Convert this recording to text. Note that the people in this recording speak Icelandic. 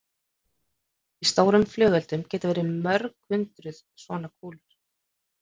Í stórum flugeldum geta verið um hundrað svona kúlur.